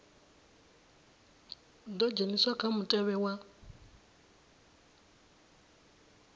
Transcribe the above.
ḓo dzheniswa kha mutevhe wa